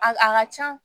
A a ka can